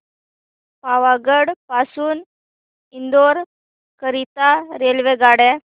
पावागढ पासून इंदोर करीता रेल्वेगाड्या